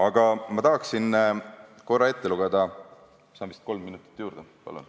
Kas saan palun kolm minutit juurde?